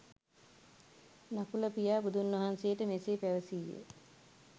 නකුල පියා බුදුන්වහන්සේට මෙසේ පැවසීය.